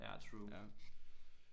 Ja true